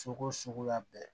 Sogo suguya bɛɛ